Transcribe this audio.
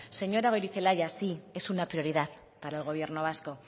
señora goirizelaia sí es una prioridad para el gobierno vasco